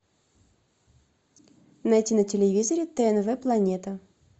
найти на телевизоре тнв планета